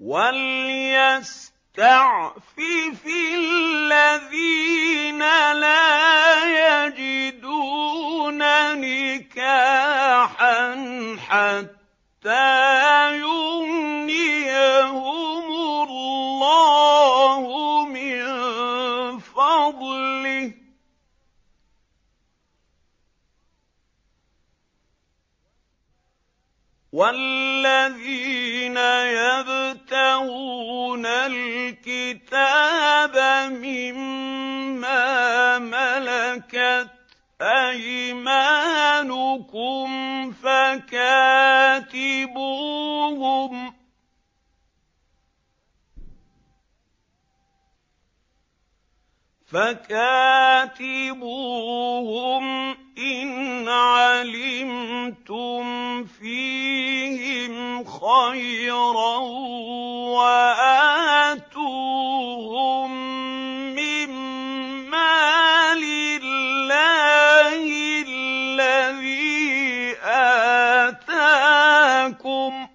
وَلْيَسْتَعْفِفِ الَّذِينَ لَا يَجِدُونَ نِكَاحًا حَتَّىٰ يُغْنِيَهُمُ اللَّهُ مِن فَضْلِهِ ۗ وَالَّذِينَ يَبْتَغُونَ الْكِتَابَ مِمَّا مَلَكَتْ أَيْمَانُكُمْ فَكَاتِبُوهُمْ إِنْ عَلِمْتُمْ فِيهِمْ خَيْرًا ۖ وَآتُوهُم مِّن مَّالِ اللَّهِ الَّذِي آتَاكُمْ ۚ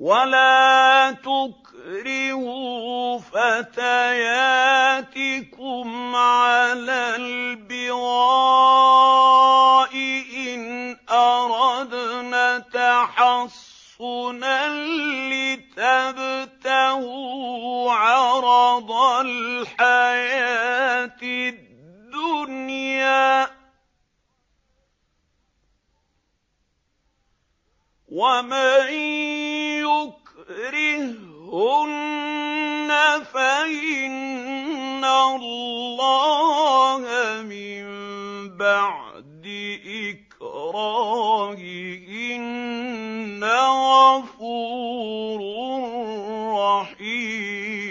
وَلَا تُكْرِهُوا فَتَيَاتِكُمْ عَلَى الْبِغَاءِ إِنْ أَرَدْنَ تَحَصُّنًا لِّتَبْتَغُوا عَرَضَ الْحَيَاةِ الدُّنْيَا ۚ وَمَن يُكْرِههُّنَّ فَإِنَّ اللَّهَ مِن بَعْدِ إِكْرَاهِهِنَّ غَفُورٌ رَّحِيمٌ